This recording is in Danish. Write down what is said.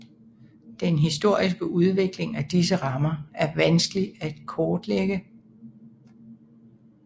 Den historiske udvikling af disse stammer er vanskelig at kortlægge